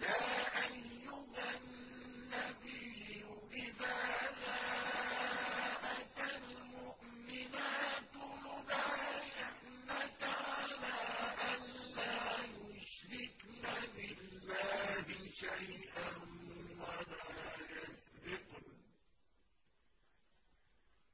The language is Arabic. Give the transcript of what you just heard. يَا أَيُّهَا النَّبِيُّ إِذَا جَاءَكَ الْمُؤْمِنَاتُ يُبَايِعْنَكَ عَلَىٰ أَن لَّا يُشْرِكْنَ بِاللَّهِ شَيْئًا